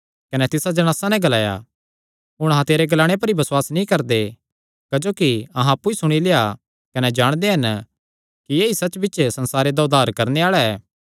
कने तिसा जणासा नैं ग्लाया हुण अहां तेरे ग्लाणे पर ई बसुआस नीं करदे क्जोकि अहां अप्पु ई सुणी लेआ कने जाणदे हन कि ऐई सच्च बिच्च संसारे दा उद्धार करणे आल़ा ऐ